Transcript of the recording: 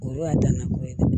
O y'a dan na ko ye dɛ